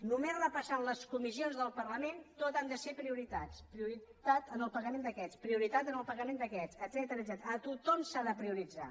només repassant les comissions del parlament tot han de ser prioritats prioritat en el pagament d’aquests prioritat en el pagament aquests etcètera a tothom s’ha de prioritzar